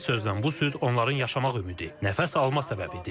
Bir sözlə, bu süd onların yaşamaq ümidi, nəfəs alma səbəbidir.